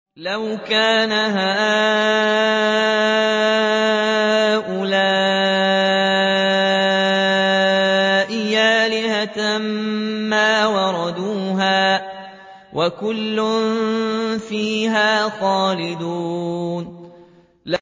لَوْ كَانَ هَٰؤُلَاءِ آلِهَةً مَّا وَرَدُوهَا ۖ وَكُلٌّ فِيهَا خَالِدُونَ